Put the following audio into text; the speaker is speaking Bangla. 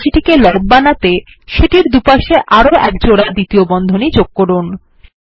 উপরের রাশিটিকে লব বানাতে সেটির দুপাশে আরো একজোড়া দ্বিতীয় বন্ধনী যোগ করুন